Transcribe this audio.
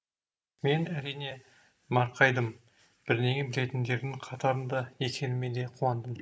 мен әрине марқайдым бірдеңе білетіндердің қатарында екеніме де қуандым